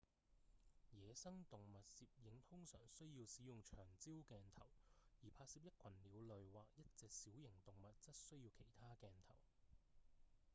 野生動物攝影通常需要使用長焦鏡頭而拍攝一群鳥類或一隻小型動物則需要其他鏡頭